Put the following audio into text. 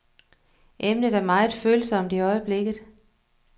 Emnet er meget følsomt i øjeblikket.